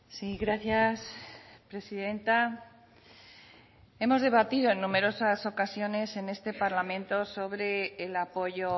sí gracias presidenta hemos debatido en numerosas ocasiones en este parlamento sobre el apoyo